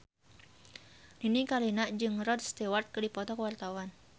Nini Carlina jeung Rod Stewart keur dipoto ku wartawan